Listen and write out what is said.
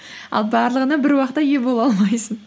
ал барлығына бір уақытта ие бола алмайсың